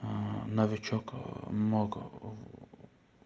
аа новичок ээ много в